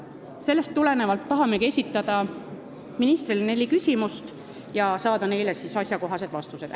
Sellest tulenevalt esitamegi ministrile neli küsimust ja tahame saada neile asjakohaseid vastuseid.